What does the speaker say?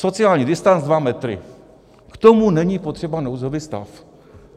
Sociální distanc dva metry - k tomu není potřeba nouzový stav.